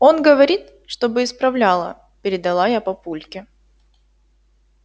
он говорит чтобы исправляла передала я папульке